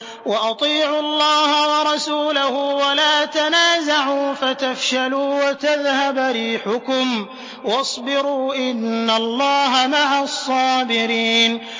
وَأَطِيعُوا اللَّهَ وَرَسُولَهُ وَلَا تَنَازَعُوا فَتَفْشَلُوا وَتَذْهَبَ رِيحُكُمْ ۖ وَاصْبِرُوا ۚ إِنَّ اللَّهَ مَعَ الصَّابِرِينَ